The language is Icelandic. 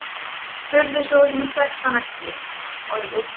spurði sú sem hann þekkti ekki.